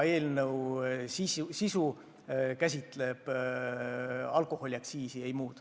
Eelnõu sisu käsitleb alkoholiaktsiisi, ei muud.